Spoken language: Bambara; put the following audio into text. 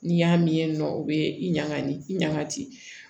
N'i y'a min nɔ o bɛ i ɲaga ni i ɲangati